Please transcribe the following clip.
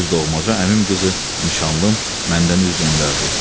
Öz doğmaca əmim qızı, nişanlım, məndən üz döndərdi.